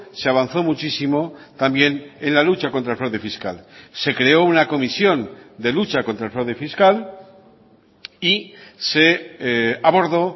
se avanzó muchísimo también en la lucha contra el fraude fiscal se creó una comisión de lucha contra el fraude fiscal y se abordó